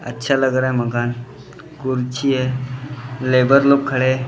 अच्छा लग रहा हैं मकान कुर्सी हैं लेबर लोग खड़े हैं।